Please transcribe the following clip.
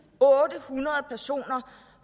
otte hundrede personer